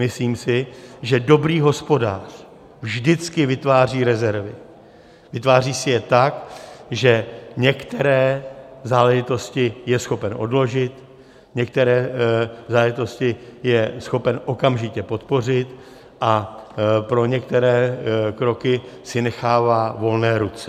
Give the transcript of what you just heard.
Myslím si, že dobrý hospodář vždycky vytváří rezervy, vytváří si je tak, že některé záležitosti je schopen odložit, některé záležitosti je schopen okamžitě podpořit a pro některé kroky si nechává volné ruce.